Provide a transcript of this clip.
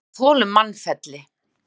En vér þolum mannfelli.